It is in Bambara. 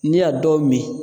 N'i y'a dɔw min